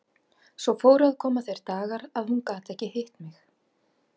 Svo fóru að koma þeir dagar að hún gat ekki hitt mig.